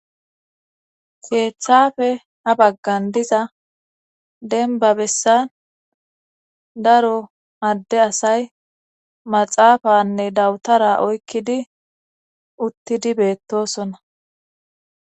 Keechchafe a baggan diza denba bessan daro adde asay maxaafanne dawutara oykkidi uttidi beettosona.